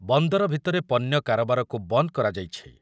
ବନ୍ଦର ଭିତରେ ପଣ୍ୟ କାରବାରକୁ ବନ୍ଦ୍ କରାଯାଇଛି ।